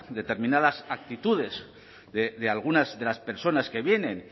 determinadas actitudes de algunas de las personas que vienen